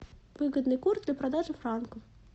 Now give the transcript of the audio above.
выгодный курс для продажи франков